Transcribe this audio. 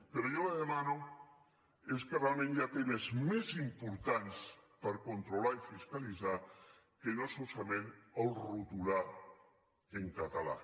però jo li demano és que realment hi ha temes més importants per controlar i fiscalitzar que no solament retolar en català